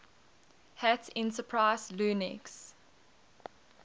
hat enterprise linux